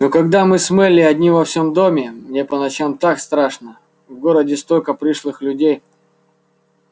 но когда мы с мелли одни во всем доме мне по ночам так страшно в городе столько пришлых людей